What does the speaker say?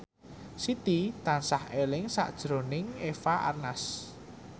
Siti tansah eling sakjroning Eva Arnaz